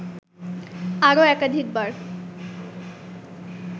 আরও একাধিকবার